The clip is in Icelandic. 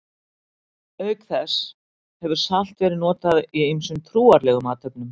Auk þessa hefur salt verið notað í ýmsum trúarlegum athöfnum.